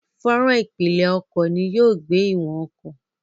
Fọ́nrán ìpìlẹ̀ ọkọ̀ ni yóò gbé ìwọ̀n ọkọ̀.